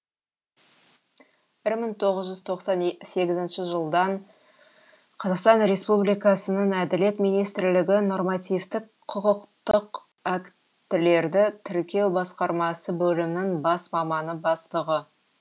бір мың тоғыз жүз тоқсан сегізінші жылдан қазақстан республикасының әділет министрлігі нормативтік құқықтық актілерді тіркеу басқармасы бөлімінің бас маманы бастығы